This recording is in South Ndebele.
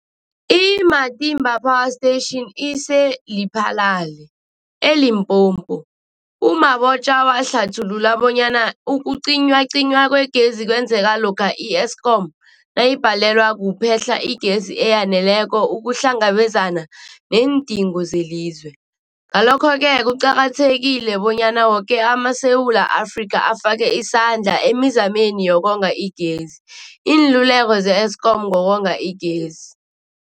I-Matimba Power Station ise-Lephalale, eLimpopo. U-Mabotja wahlathulula bonyana ukucinywacinywa kwegezi kwenzeka lokha i-Eskom nayibhalelwa kuphe-hla igezi eyaneleko ukuhlangabezana neendingo zelizwe. Ngalokho-ke kuqakathekile bonyana woke amaSewula Afrika afake isandla emizameni yokonga igezi. Iinluleko ze-Eskom ngokonga igezi.